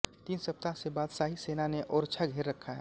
तीन सप्ताह से बादशाही सेना ने ओरछा घेर रखा है